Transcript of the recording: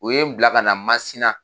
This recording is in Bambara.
U ye n bila ka na MASINA.